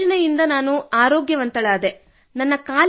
ತಮ್ಮ ಈ ಯೋಜನೆಯಿಂದ ನಾನು ಆರೋಗ್ಯವಂತಳಾದೆ